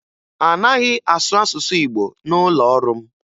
A naghị asụ asụsụ Igbo n'ụlọ ọrụ m